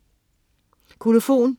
Kolofon